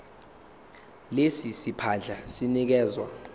lesi siphandla sinikezwa